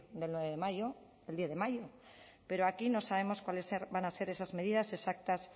del diez de mayo pero aquí no sabemos cuáles van a ser esas medidas exactas